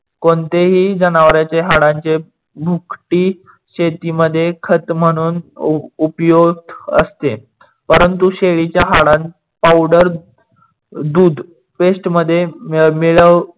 कोणतेही जनवरांच्या हाडाचे भुकटी शेतीमध्ये खत म्हणून उपयोग असते. परंतु शेळीच्या हाडात पावडर दूध paste मध्ये मिडवून